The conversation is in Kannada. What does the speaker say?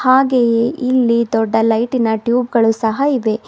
ಹಾಗೆಯೆ ಇಲ್ಲಿ ದೊಡ್ಡ ಲೈಟಿನ ಟ್ಯೂಬ್ ಗಳು ಸಹ ಇವೆ.